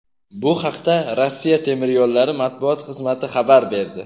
Bu haqda "Rossiya temir yo‘llari" matbuot xizmati xabar berdi.